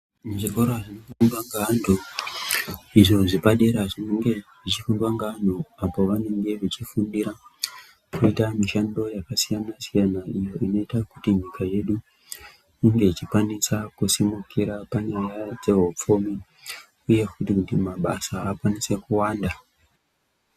Muzvikora zvinofundwa ngeantu izvo zvepadera zvinenge zvichifundwa ngeanhu apo vanenge vechifundira kuita mishando yakasiyana siyana iyo inoita kuti nyika yedu inge ichikwanisa kusimukira panyaya dzezveupfumi uye futi kuti mabasa akwanise kuwanda.